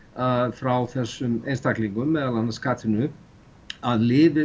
frá þessum einstaklingum meðal annars Katrínu að lyfið